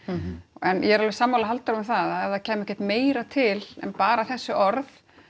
en ég er alveg sammála Halldóru um það að ef það kæmi ekkert meira til en bara þessi orð